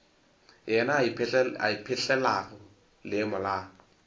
yena a ipetlelago leemo la